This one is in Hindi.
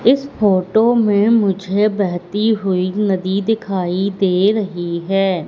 इस फोटो में मुझे बहेती हुई नदी दिखाई दे रही है।